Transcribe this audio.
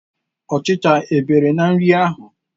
Ọchicha e bere n'nri ahụ?